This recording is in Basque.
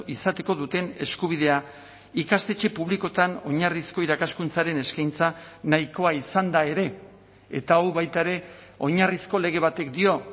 izateko duten eskubidea ikastetxe publikoetan oinarrizko irakaskuntzaren eskaintza nahikoa izanda ere eta hau baita ere oinarrizko lege batek dio